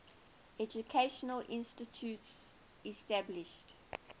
educational institutions established